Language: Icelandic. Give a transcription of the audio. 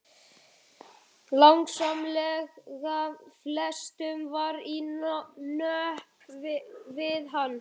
Langsamlega flestum var í nöp við hann.